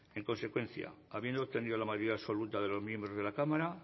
en consecuencia habiendo obtenido la mayoría absoluta de los miembros de la cámara